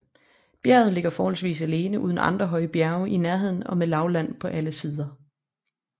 Bjerget ligger forholdsvis alene uden andre højre bjerge i nærheden og med lavland på alle sider